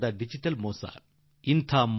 ಇದು ಡಿಜಿಟಲ್ ದಗಾಕೋರತನ